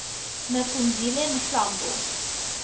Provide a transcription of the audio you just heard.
me phumzile mlambo